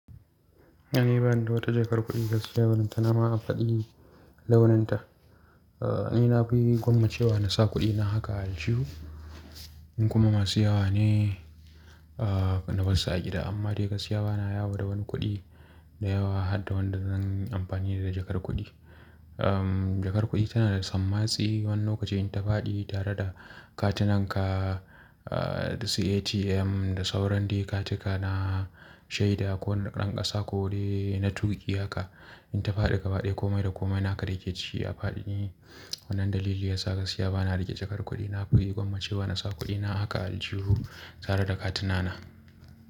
Ni bani da wata jakar kuɗi gaskiya balenta nama a faɗi launinta. A'a, ni na fi gwammace wa na sa kuɗina haka aljihu. In kuma masu yawa ne, a na bassu a gida. Amma dai gaskiya bana yawo da wani kuɗi da yawa har da wanda zan yi amfani da jakar kuɗi am. Umm jakar kuɗi tana da sammatsi wani lokacin ta faɗi tare da Katinanka, a da su ATM, da sauran dai katika na shaida ko na dan kasa ko dai na tuki haka. In ta fadi gabaɗaya komai da komai naka dayake ciki ya fadi ne. Wannan dalili yasa gaskiya bana riƙe jakar kuɗi. Na fi gwammace wa na sa kuɗina haka aljihu. Tare da katina na.